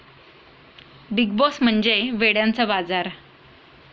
big Boss म्हणजे वेड्यांचा बाजार'